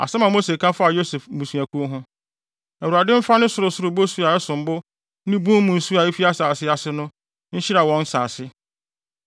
Asɛm a Mose ka faa Yosef mmusuakuw ho: “ Awurade mfa ne sorosoro bosu a ɛsom bo ne bun mu nsu a efi asase ase no, nhyira wɔn nsase.